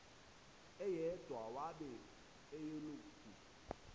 eyedwa wabe eyilokhu